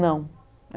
Não.